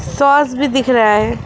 Sauce भी दिख रहा है।